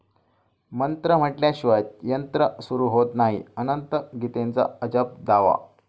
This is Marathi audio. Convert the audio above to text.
मंत्र म्हटल्याशिवाय यंत्र सुरू होत नाही, अनंत गीतेंचा अजब दावा